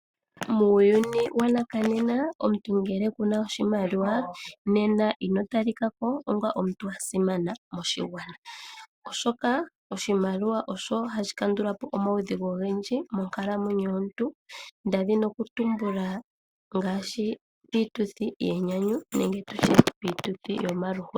Muuyuni wanakanena omuntu ngele Kuna oshimaliwa nena ino talika ko onga omuntu a simana moshigwana oshoka oshimaliwa osho hasdhi kandula po omaudhigu ogendji monkalamwenyo yomuntu, ndazi nokutumbula ngaashi piituthi yenyanyu nenge tu tye piituthi yomaluhodhi.